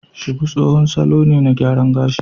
Shuku tsohon salo ne na gyaran gashi